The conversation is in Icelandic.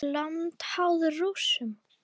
Landið háð Rússum?